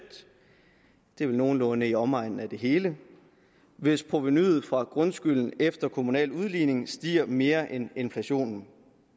det er vel nogenlunde i omegnen af det hele hvis provenuet fra grundskylden efter kommunal udligning stiger mere end inflationen